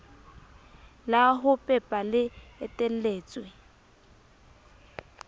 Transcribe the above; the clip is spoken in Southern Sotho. la ho pepa le eteletswe